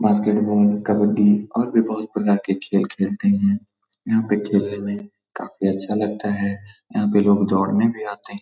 Basketball kabaddi और भी बोहोत प्रकार के खेल खेलते है। यहाँ पे खेलने में काफी अच्छा लगता है। यहाँ पे लोग दौड़ने भी आते है।